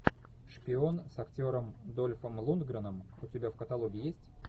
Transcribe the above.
шпион с актером дольфом лундгреном у тебя в каталоге есть